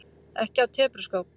Ekki af tepruskap.